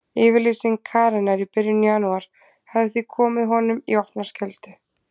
Yfirlýsing Karenar í byrjun janúar hafði því komið honum í opna skjöldu.